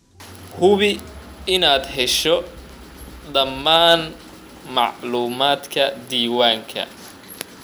Hubi inaad hesho dhammaan macluumaadka diiwaanka.